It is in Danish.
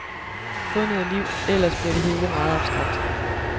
Få noget liv, ellers bliver det hele meget abstrakt.